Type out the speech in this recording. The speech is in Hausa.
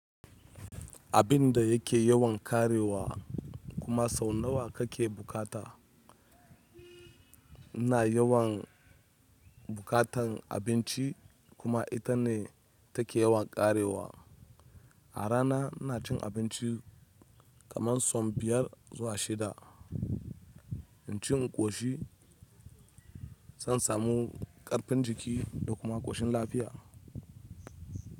Abinda yake yawan karewa kuma sau nawa kake buƙata ina yawan bukatan abinci kuma ita ne take yawan karewa. A rana ina cin abinci kaman sau biyar zuwa shida. Inci in ƙoshi zan samu ƙarfin jiki da kuma ƙoshin lafiya.